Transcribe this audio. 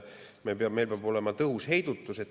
Meil peab olema tõhus heidutus.